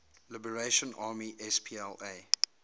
liberation army spla